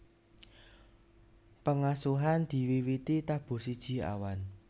Pengasuhan diwiwiti tabuh siji awan